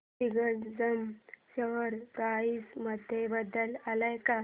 Digjam share price मध्ये बदल आलाय का